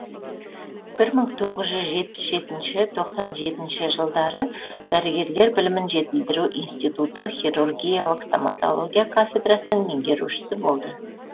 бір мың тоғыз жүз жетпіс жетінші тоқсан жетінші жылдары дәрігерлер білімін жетілдіру институты хирургиялық стамотология кафедрасының меңгерушісі болды